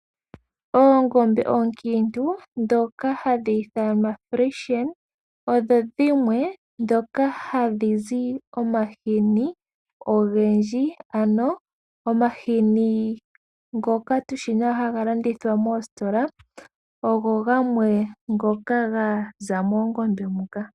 Oongombe oonkintu dhoka hadhi ithanwa frishen odho dhimwe dhoka ha dhizi omahini ogendji, ano omahini ngoka tushi ha ga landithwa moostola ogo gamwe ngoka ga za moongombe muka.